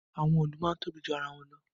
Àwọn òòlù máa ń tóbi ju ara wọn lọ